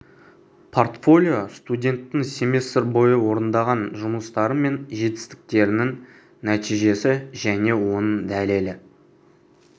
портфолио студенттің семестр бойы орындаған жұмыстары мен жетістіктерінің нәтижесі және оның дәлелі